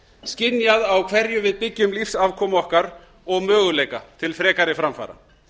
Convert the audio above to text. skynjað á hverju við byggjum lífsafkomu okkar og möguleika til frekari framfara